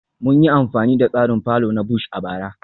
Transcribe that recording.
Mun yi amfani da tsarin fallow na Bush a bara